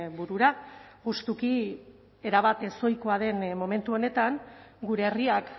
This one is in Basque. burura justuki erabat ezohikoa den momentu honetan gure herriak